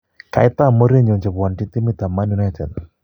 ka itam mourinyo chepwonjin timit ap manunited